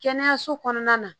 Kɛnɛyaso kɔnɔna na